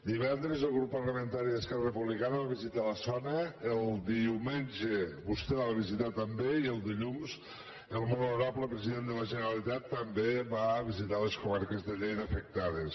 divendres el grup parlamentari d’esquerra republicana va visitar la zona el diumenge vostè la va visitar també i el dilluns el molt honorable president de la generalitat també va visitar les comarques de lleida afectades